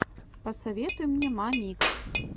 посоветуй мне мамикс